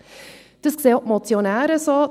Das sehen auch die Motionäre so;